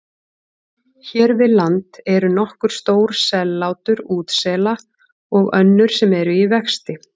Hér við land eru nokkur stór sellátur útsela og önnur sem eru í vexti.